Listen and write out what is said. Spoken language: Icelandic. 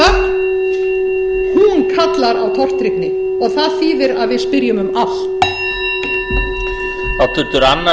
eru skilyrði alþjóðagjaldeyrissjóðsins sú þögn kallar á tortryggni og það þýðir að við spyrjum um allt